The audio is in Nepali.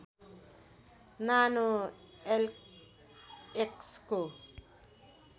नानो एलएक्सको